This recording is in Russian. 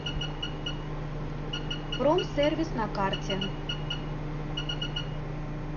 промсервис на карте